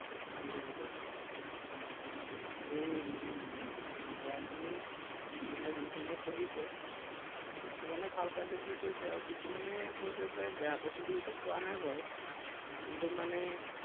উম উম বুজি পাইছো এৰ উম পঢ়াখিনি মানে যিখিনিয়ে পঢ়িছে, কিছুমানে ভাল পাইছো বুলি কৈছে আৰু কিছুমানে কৈছে যে বেয়া পাইছো বুলি কোৱা নাই বাৰু। কিন্তু মানে